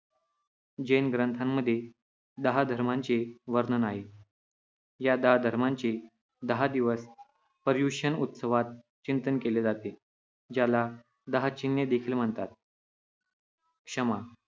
जैन ग्रंथांमध्ये दहा धर्मांचे वर्णन आहे. या दहा धर्मांचे दहा दिवस पर्युषण उत्सवात चिंतन केले जाते, ज्याला दहा चिन्हे देखील म्हणतात. क्षमा